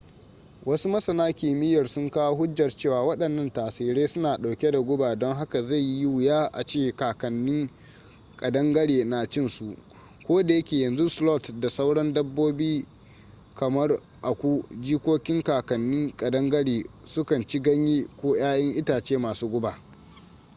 wasu masana kimiyyar sun kawo hujjar cewa waɗannan tsirrai suna ɗauke da guba don haka zai yi wuya a ce kakannin ƙadangare na cin su koda yake yanzu sloth da sauran dabbobi kamar aku jikokin kakannin ƙadangare su kan ci ganyaye ko yayan itace masu guba